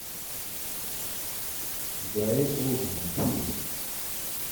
гарри олдман фильм